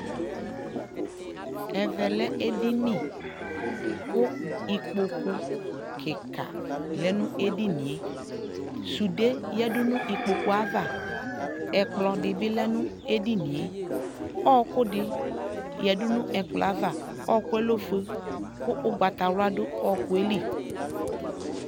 ɛvɛ lɛ ɛdini kʋ ikpɔkʋ kikaa lɛnʋ ɛdiniɛ, sʋdɛ yadʋ nʋ ikpɔkʋ aɣa, ɛkplɔ di bi lɛ nʋ ɛdiniɛ, ɔkʋ di yadʋ nʋ ɛkplɔɛ aɣa, ɔkʋɛ lɛ ɔfʋɛ kʋ ɔgbatawla dʋnʋ ɔkʋɛ li